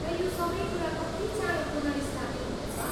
र यो सबै कुरा कति चाँडो पुनर्स्थापित हुनेछ?